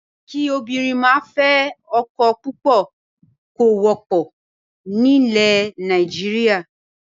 Kí obìnrin máa fẹ́ ọkọ púpọ̀ kò wọ́pọ̀ nílẹ̀ Nàìjíríà.